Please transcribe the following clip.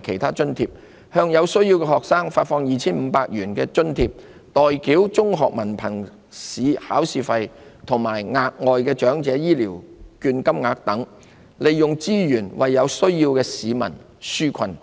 及其他津貼、向有需要的學生發放 2,500 元津貼、代繳中學文憑試考試費及額外長者醫療券金額等，利用資源為有需要的市民紓困。